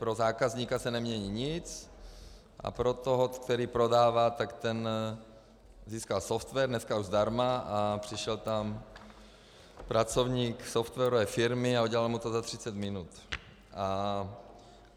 Pro zákazníka se nemění nic a pro toho, který prodává, tak ten získal software, dneska už zdarma, a přišel tam pracovník softwarové firmy a udělal mu to za 30 minut.